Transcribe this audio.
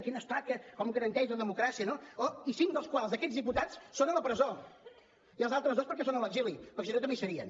quin estat com garanteix la democràcia no oh i cinc dels quals d’aquests diputats són a la presó i els altres dos perquè són a l’exili perquè si no també hi serien